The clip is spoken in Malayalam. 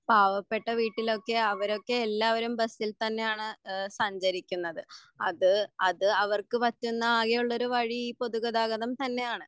പാവപെട്ട വീട്ടിലൊക്കെ അവരൊക്കെ എല്ലാവരും ബസിൽ തന്നാണ് ഏഹ് സഞ്ചരിക്കുന്നത് അത് അത് അവർക്ക് പറ്റുന്ന ആകെയുള്ള ഒരു വഴി പൊതുഗതാഗതം തന്നെയാണ്